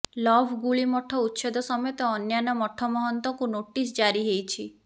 love ଗୁଳି ମଠ ଉଚ୍ଛେଦ ସମେତ ଅନ୍ୟାନ୍ୟ ମଠ ମହନ୍ତଙ୍କୁ ନୋଟିସ୍ ଜାରିହେଇଛି